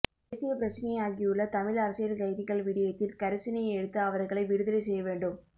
தேசியபிரச்சினையாகியுள்ள தமிழ் அரசியல்கைதிகள் விடயத்தில் கரிசனை எடுத்து அவர்களை விடுதலை செய்யவேண்டும்